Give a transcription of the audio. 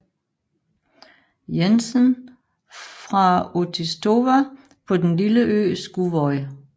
Jensen fra Útistova på den lille ø Skúvoy